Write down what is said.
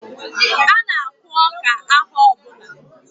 Ana akụ ọka ahọ ọbula.